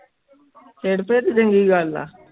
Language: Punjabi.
ਸਿਰਪਿਰ ਚੰਗੀ ਗੱਲ ਹੈ